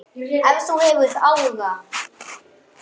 Ef þú hefur áhuga.